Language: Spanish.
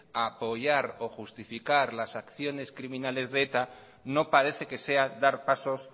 apoyar o justificar las acciones criminales de eta no parece que sea dar pasos